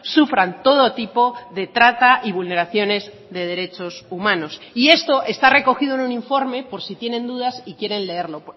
sufran todo tipo de trata y vulneraciones de derechos humanos y esto está recogido en un informe por si tienen dudas y quieren leerlo